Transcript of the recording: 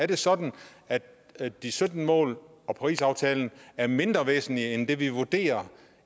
det sådan at at de sytten mål og parisaftalen er mindre væsentlige end det vi vurderer